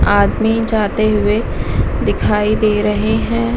आदमी जाते हुए दिखाई दे रहे हैं ।